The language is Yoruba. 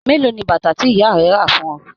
Mélòó ní bàtà tí ìyá rẹ rà fún ọ?